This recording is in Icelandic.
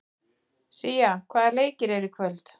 Sía, hvaða leikir eru í kvöld?